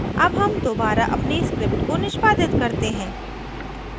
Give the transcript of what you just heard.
अब हम दोबारा अपनी script को निष्पादित करते हैं